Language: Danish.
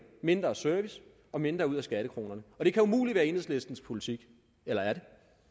mindre service og mindre ud af skattekronerne det kan umuligt være enhedslistens politik eller er